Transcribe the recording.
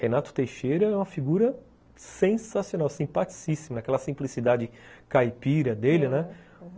Renato Teixeira é uma figura sensacional, simpaticíssimo, naquela simplicidade caipira dele, né?